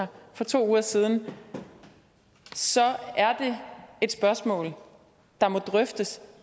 her for to uger siden så er det et spørgsmål der må drøftes